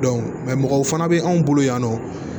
mɔgɔw fana bɛ anw bolo yan nɔ